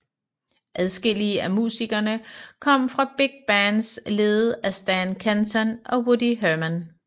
Adskillige af musikerne kom fra big bands ledet af Stan Kenton og Woody Herman